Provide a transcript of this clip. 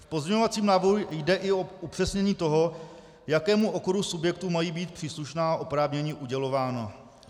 V pozměňovacím návrhu jde i o upřesnění toho, jakému okruhu subjektů mají být příslušná oprávnění udělována.